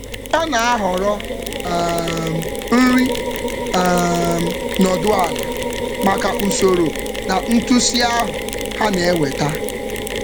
Ọ na-ahọrọ nri nọdụ ala ala maka usoro na ntụsị ahụ ha na-eweta.